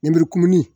Nɛburu kumuni